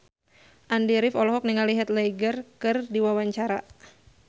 Andy rif olohok ningali Heath Ledger keur diwawancara